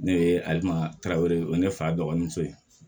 Ne ye ale ma ne fa dɔgɔnin fɛ